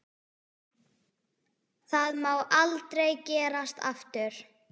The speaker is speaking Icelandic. Það má aldrei gerast aftur.